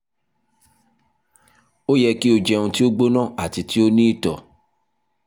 o yẹ ki o jẹun ti o gbona ati ti o ni itọ